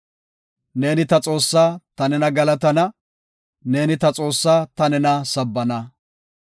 Neeni ta Xoossaa; ta nena galatana; neeni ta Xoossaa; ta nena sabbana.